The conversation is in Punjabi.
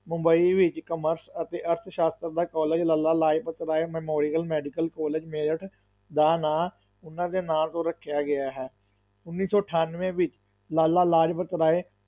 ਮੁੰਬਈ ਵਿੱਚ commerce ਅਤੇ ਅਰਥ ਸ਼ਾਸਤਰ ਦਾ college Lala Lajpat Rai memorial medical college Meerut ਦਾ ਨਾਂ ਉਨ੍ਹਾਂ ਦੇ ਨਾਂ ਤੋਂ ਰੱਖਿਆ ਗਿਆ ਹੈ, ਉੱਨੀ ਸੌ ਅਠਾਨਵੇਂ ਵਿੱਚ ਲਾਲਾ ਲਾਜਪਤ ਰਾਏ